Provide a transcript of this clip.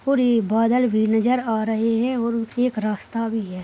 पूरे बादल भी नजर आ रहे है और उनके एक रास्ता भी है।